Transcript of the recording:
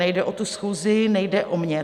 Nejde o tu schůzi, nejde o mě.